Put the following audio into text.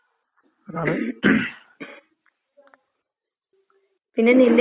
അതെ സത്യാണ്. അയിലൊരു ഡൌട്ടൊന്നൂല്ല. ഉം.